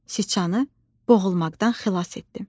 Sıçanı boğulmaqdan xilas etdim.